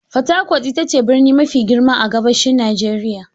Fatakwat ita ce birni mafi girma a gabashin Najeriya.